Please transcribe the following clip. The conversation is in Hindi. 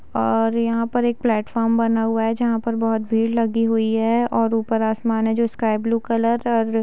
और यहाँ पर एक प्लेटफार्म बना हुआ हैं जहाँ पर बहोत भीड़ लगी हुई हैं और ऊपर आसमान है जो स्काई ब्लू कलर और --